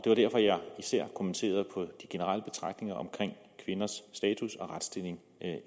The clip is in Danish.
var derfor jeg især kommenterede på de generelle betragtninger om kvinders status og retsstilling